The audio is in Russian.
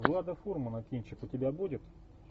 влада фурмана кинчик у тебя будет